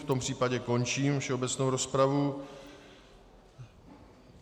V tom případě končím všeobecnou rozpravu.